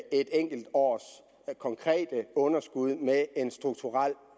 enkelt års konkrete underskud med en strukturel